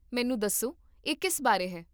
ਮੈਨੂੰ ਦੱਸੋ, ਇਹ ਕਿਸ ਬਾਰੇ ਹੈ?